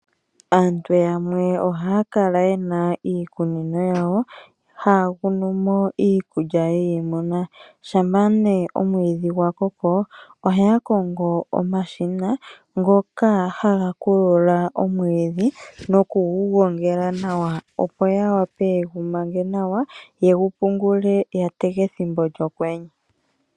Aantu yamwe ohaya kala yena iikunino yawo, haya kunu mo iikulya yiimuna. Shampa nee omwiidhi gwa koko ohaya kongo omashina ngoka haga kulula omwiidhi noku gu gongela nawa opo ya wape ye gu mange nawa ye gu pungule ya tege ethimbo lyokwenye.